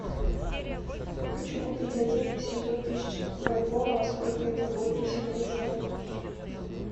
хочу купить один восемьсот тысяч бальбоа сколько это будет по сегодняшнему курсу